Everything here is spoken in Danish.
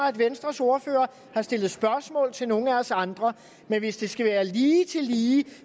at venstres ordfører har stillet spørgsmål til nogle af os andre men hvis det skal være lige til lige